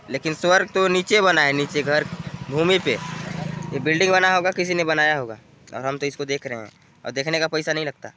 लेकिन स्वर्ग तो नीचे बना है नीचे घर भूमी पे ये बिल्डिंग बना होगा किसी ने बनाया होगा और हम तो इसे देख रहे है और देखने का पैसा नहीं लगता।